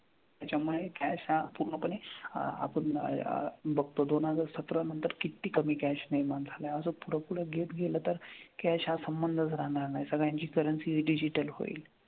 त्याच्यामुळे cash हा पूर्णपणे आपन बघतो दोन हजार सतरा नंतर किती कमी cash निर्मान झालाय अस पुढं पुढं गेत गेलं तर cash हा संबंधच राहनार नाई सगळ्यांची currencydigital होईल